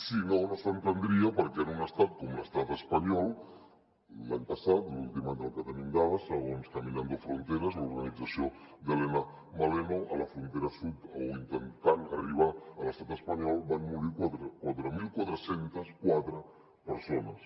si no no s’entendria per què en un estat com l’estat espanyol l’any passat l’últim any del que tenim dades segons caminando fronteras l’organització d’helena maleno a la frontera sud o intentant arribar a l’estat espanyol van morir quatre mil quatre cents i quatre persones